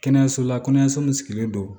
Kɛnɛyaso la kɛnɛyaso min sigilen don